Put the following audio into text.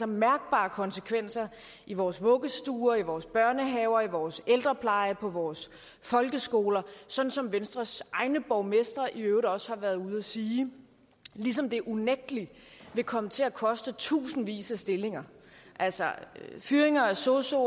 mærkbare konsekvenser i vores vuggestuer vores børnehaver vores ældrepleje og vores folkeskoler sådan som venstres egne borgmestre i øvrigt også har været ude at sige ligesom det unægtelig vil komme til at koste tusindvis af stillinger altså fyringer af sosuer